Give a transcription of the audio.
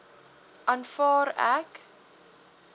aanvaar ek